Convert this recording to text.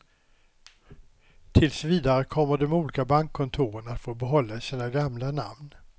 Tills vidare kommer de olika bankkontoren att få behålla sina gamla namn.